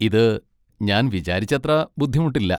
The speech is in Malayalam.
ഇത് ഞാൻ വിചാരിച്ചത്ര ബുദ്ധിമുട്ടില്ല.